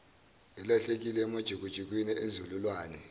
elahlekile emajukujukwini enzululwane